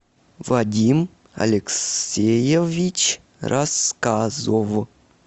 вадим алексеевич рассказов